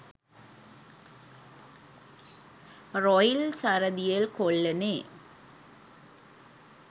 Royal Saradiel කොල්ලනේ.